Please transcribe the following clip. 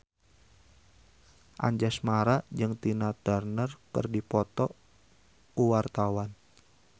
Anjasmara jeung Tina Turner keur dipoto ku wartawan